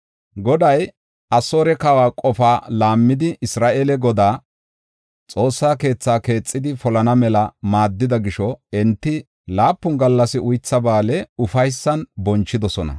Goday Asoore kawa qofa laammidi Isra7eele Godaa, Xoossa keethaa keexidi polana mela maaddida gisho, enti laapun gallas Uytha Ba7aale ufaysan bonchidosona.